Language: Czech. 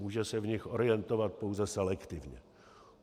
Může se v nich orientovat pouze selektivně.